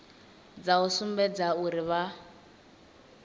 dza u sumbedza uri vha